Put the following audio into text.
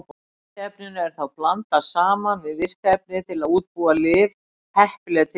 Bindiefninu er þá blandað saman við virka efnið til að útbúa lyf heppileg til inntöku.